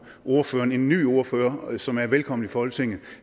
ordføreren en ny ordfører som er velkommen i folketinget